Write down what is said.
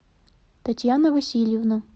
татьяна васильевна